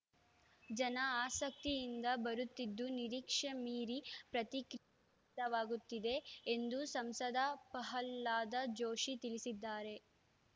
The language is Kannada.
ಜನ ಆಸಕ್ತಿಯಿಂದ ಬರುತ್ತಿದ್ದು ನಿರೀಕ್ಷೆ ಮೀರಿ ಪ್ರತಿಕ್ರಿ ವ್ಯಕ್ತವಾಗುತ್ತಿದೆ ಎಂದು ಸಂಸದ ಪ್ರಹ್ಲಾದ ಜೋಶಿ ತಿಳಿಸಿದ್ದಾರೆ